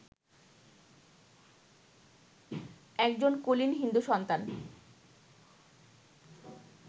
একজন কুলীন হিন্দু-সন্তান